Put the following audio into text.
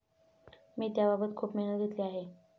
मी त्याबाबत खूप मेहनत घेतली आहे.